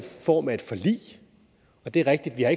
form af et forlig det er rigtigt at